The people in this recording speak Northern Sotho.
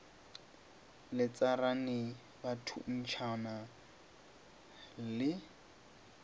le tsarane ba thuntšhana le